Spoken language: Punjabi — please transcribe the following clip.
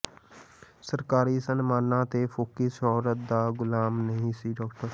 ਸਰਕਾਰੀ ਸਨਮਾਨਾਂ ਤੇ ਫੋਕੀ ਸ਼ੋਹਰਤ ਦਾ ਗੁਲਾਮ ਨਹੀਂ ਸੀ ਡਾ